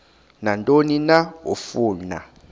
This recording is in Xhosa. nantoni na afuna